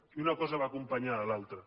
i una cosa va acompanyada de l’altra